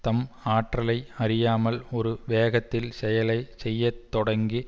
தம் ஆற்றலை அறியாமல் ஒரு வேகத்தில் செயலை செய்ய தொடங்கி